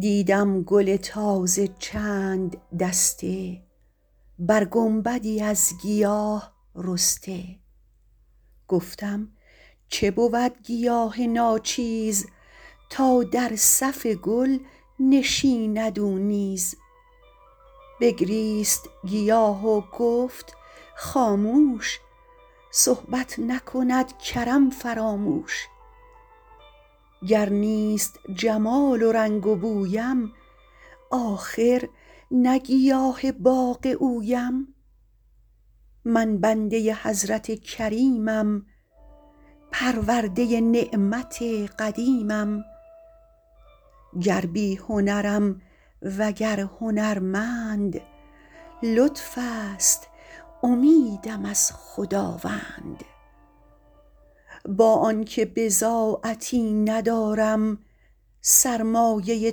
دیدم گل تازه چند دسته بر گنبدی از گیاه رسته گفتم چه بود گیاه ناچیز تا در صف گل نشیند او نیز بگریست گیاه و گفت خاموش صحبت نکند کرم فراموش گر نیست جمال و رنگ و بویم آخر نه گیاه باغ اویم من بنده حضرت کریمم پرورده نعمت قدیمم گر بی هنرم وگر هنرمند لطف است امیدم از خداوند با آن که بضاعتی ندارم سرمایه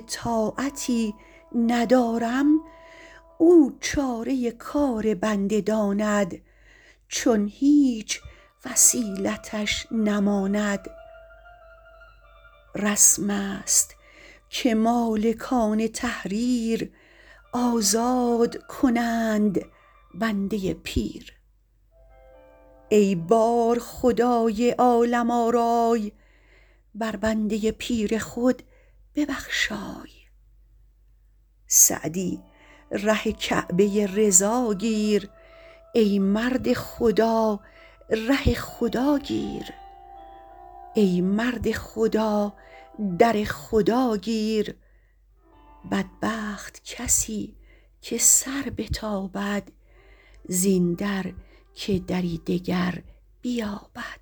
طاعتی ندارم او چاره کار بنده داند چون هیچ وسیلتش نماند رسم است که مالکان تحریر آزاد کنند بنده پیر ای بارخدای عالم آرای بر بنده پیر خود ببخشای سعدی ره کعبه رضا گیر ای مرد خدا در خدا گیر بدبخت کسی که سر بتابد زین در که دری دگر بیابد